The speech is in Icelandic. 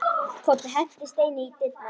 Kobbi henti steini í dyrnar.